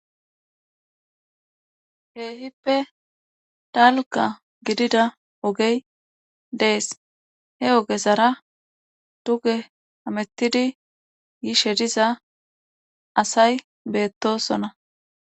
Keehippe dalgga gididda ogey dees he ogezara duge hamettidi yishe diza asay beettoosona.